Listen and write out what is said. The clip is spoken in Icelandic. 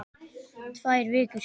Tvær vikur?